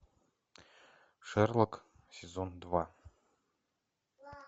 шерлок сезон два